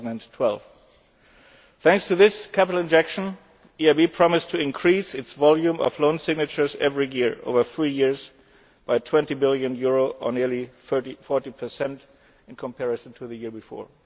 2012. Thanks to this capital injection, the EIB promised to increase its volume of loan signatures every year, over three years, by EUR 20 billion, or nearly 40 in comparison to the year before.